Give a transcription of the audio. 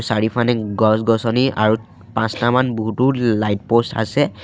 চাৰিওফানে গছ-গছনি আৰু পাঁচটামান বহুতো লাইট প'ষ্ট আছে।